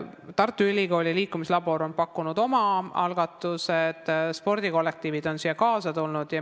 Tartu Ülikooli liikumislabor on pakkunud oma algatused, spordikollektiivid on nendega kaasa tulnud.